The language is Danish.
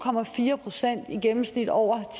procent i gennemsnit over